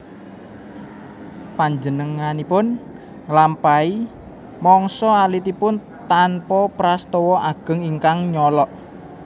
Panjenenganipun nglampahi mangsa alitipun tanpa prastawa ageng ingkang nyolok